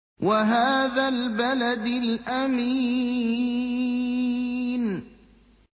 وَهَٰذَا الْبَلَدِ الْأَمِينِ